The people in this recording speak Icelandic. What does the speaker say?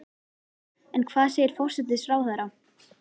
En hvað segir forsætisráðherra?